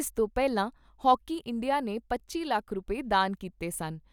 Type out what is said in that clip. ਇਸ ਤੋਂ ਪਹਿਲਾਂ ਹਾਕੀ ਇੰਡੀਆ ਨੇ ਪੱਚੀ ਲੱਖ ਰੁਪਏ ਦਾਨ ਕੀਤੇ ਸਨ।